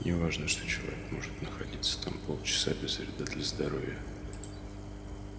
не важно что человек может находиться там полчаса без вреда для здоровья